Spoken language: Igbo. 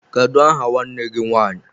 Kedụ aha nwanne gị nwanyị?